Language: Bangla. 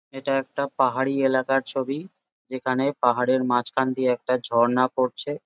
এটাও একটা পাহাড়ি এলাকার ছবি যেখানে পাহাড়ের মাঝখান দিয়ে একটা ঝর্ণা পড়ছে ।